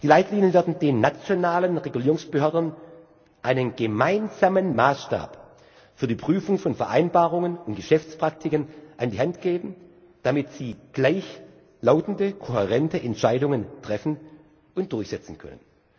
Die Leitlinien werden den nationalen Regulierungsbehörden einen gemeinsamen Maßstab für die Prüfung von Vereinbarungen und Geschäftspraktiken an die Hand geben, damit sie gleichlautende, kohärente Entscheidungen treffen und durchsetzen können.